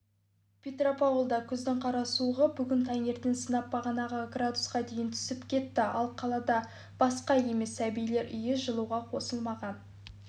петропавлда күздің қара суығы бүгін таңертең сынап бағанасы градусқа дейін түсіп кетті ал қалада басқа емес сәбилер үйі жылуға қосылмаған